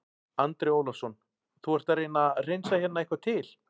Andri Ólafsson: Þú ert að reyna að hreinsa hérna eitthvað til?